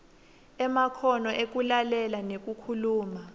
emakhono ekulalela nekukhuluma